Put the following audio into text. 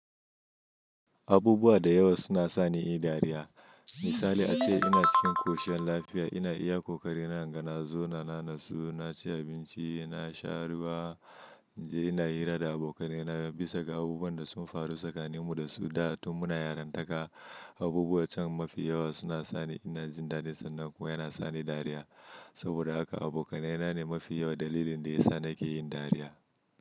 Abubuwa da yawa suna sa ni in yi dariya. Misali ace ina cikin koshin lafiya, ina iya ƙoƙari na inga nazauna, na natsu, na ci abinci, na sha ruwa, ina hira da abokanai na, bisa ga abubuwan da sun faru tsakanin mu da su da, tun muna yaranta ka. Abubuwan can mafi yawa suna sa ni ina jin dadin, sannan kuma yana sa ni dariya. Saboda haka abokanai na ne mafi yawan dalilin da ya sa nake yin dariya.